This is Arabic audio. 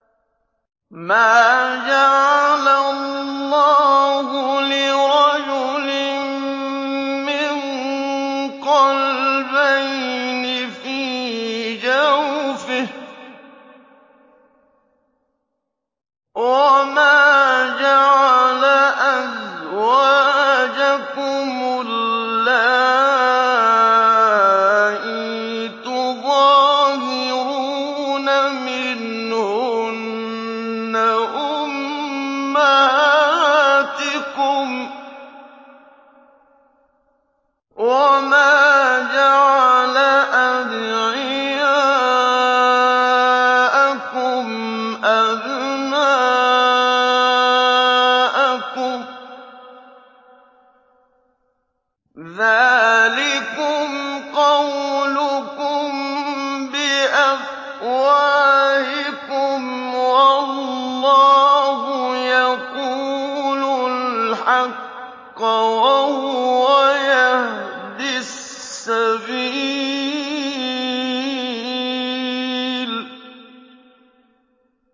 مَّا جَعَلَ اللَّهُ لِرَجُلٍ مِّن قَلْبَيْنِ فِي جَوْفِهِ ۚ وَمَا جَعَلَ أَزْوَاجَكُمُ اللَّائِي تُظَاهِرُونَ مِنْهُنَّ أُمَّهَاتِكُمْ ۚ وَمَا جَعَلَ أَدْعِيَاءَكُمْ أَبْنَاءَكُمْ ۚ ذَٰلِكُمْ قَوْلُكُم بِأَفْوَاهِكُمْ ۖ وَاللَّهُ يَقُولُ الْحَقَّ وَهُوَ يَهْدِي السَّبِيلَ